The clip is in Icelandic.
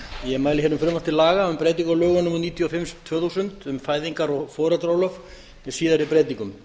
ég mæli hér fyrir frumvarpi til laga um breytingu á lögum númer níutíu og fimm tvö þúsund um fæðingar og foreldraorlof með síðari breytingum